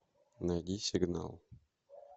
найди сигнал